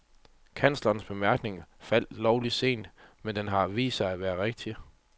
Kanslerens bemærkning faldt lovlig sent, men den har vist sig at være rigtig.